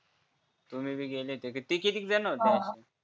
तुम्ही भी गेले ते कितीक जण होते